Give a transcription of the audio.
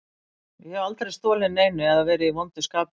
Ég hef aldrei stolið neinu eða verið í vondu skapi lengi.